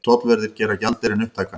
Tollverðir gera gjaldeyrinn upptækan